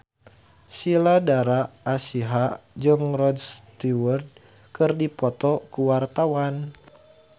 Sheila Dara Aisha jeung Rod Stewart keur dipoto ku wartawan